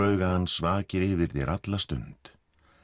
hans vakir yfir þér alla stund